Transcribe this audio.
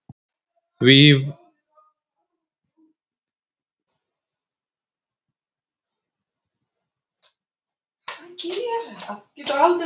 Því var víst ekki auðsvarað.